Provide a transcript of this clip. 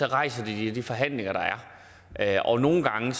rejser det i de forhandlinger der er og nogle gange